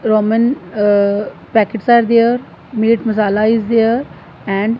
Roman ahh packets are there meet masala is there and--